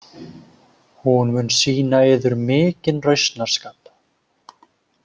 Hún mun sýna yður mikinn rausnarskap.